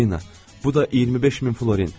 Polina, bu da 25 min florin.